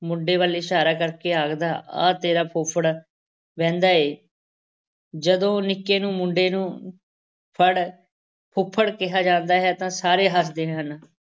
ਮੁੰਡੇ ਵੱਲ ਇਸ਼ਾਰਾ ਕਰਕੇ ਆਖਦਾ ਆਹ ਤੇਰਾ ਫੁੱਫੜ ਵੇਂਹਦਾ ਹੈ, ਜਦੋਂ ਨਿੱਕੇ ਨੂੰ ਮੁੰਡੇ ਨੂੰ ਫੜ ਫੁੱਫੜ ਕਿਹਾ ਜਾਂਦਾ ਹੈ ਤਾਂ ਸਾਰੇ ਹੱਸਦੇ ਹਨ।